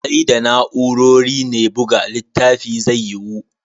Sai da na'urori ne buga littafi zai yiwu.